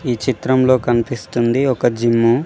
ఈ చిత్రంలో కనిపిస్తుంది ఒక జిమ్ము .